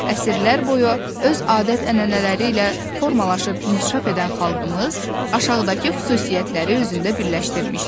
Əsrlər boyu öz adət-ənənələri ilə formalaşıb inkişaf edən xalqımız aşağıdakı xüsusiyyətləri özündə birləşdirmişdi: